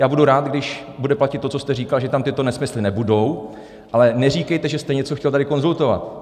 Já budu rád, když bude platit to, co jste říkal, že tam tyto nesmysly nebudou, ale neříkejte, že jste něco chtěl tady konzultovat.